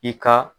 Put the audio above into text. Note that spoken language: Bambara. I ka